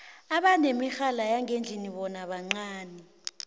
abanemirhala yangendlini bona bancani